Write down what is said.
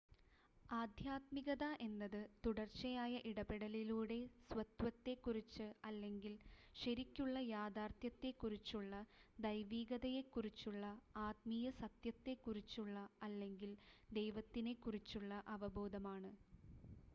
ആദ്ധ്യാത്മികത എന്നത് തുടർച്ചയായ ഇടപെടലിലൂടെ സ്വത്വത്തെക്കുറിച്ച് അല്ലെങ്കിൽ ശരിക്കുള്ള യഥാർത്ഥ്യത്തെക്കുറിച്ചുള്ള ദൈവീകതയെക്കുറിച്ചുള്ള ആത്മീയ സത്യത്തെക്കുറിച്ചുള്ള അല്ലെങ്കിൽ ദൈവത്തിനെക്കുറിച്ചുള്ള അവബോധമാണ്